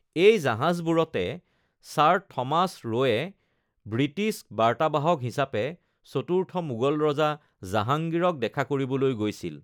এই জাহাজবোৰতে Sir Thomas Roe British বাৰ্তাবাহক হিচাপে চতুৰ্থ মোগল ৰজা জাহাঙ্গীৰক দেখা কৰিবলৈ গৈছিল।